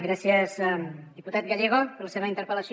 gràcies diputat gallego per la seva interpel·lació